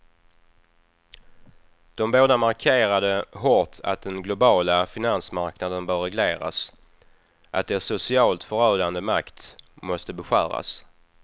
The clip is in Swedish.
De båda markerade hårt att den globala finansmarknaden bör regleras, att dess socialt förödande makt måste beskäras.